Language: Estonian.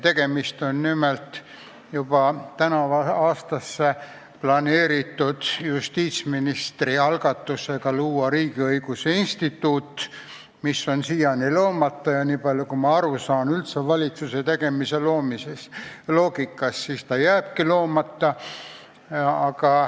Tegemist on nimelt juba tänavusse aastasse planeeritud justiitsministri algatusega luua Riigiõiguse Instituut, mis on siiani loomata ja nii palju, kui ma valitsuse loogikast aru saan, jääbki loomata.